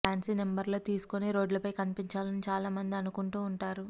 fancy నెంబర్లు తీసుకొని రోడ్లపై కనిపించాలని చాలా మంది అనుకుంటూ ఉంటారు